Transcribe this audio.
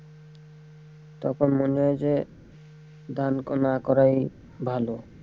তখন মনে হয় যে ধান না করাই ভালো।